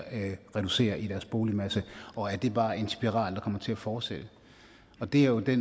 reduceres i boligmassen og er det bare en spiral der kommer til at fortsætte det er jo det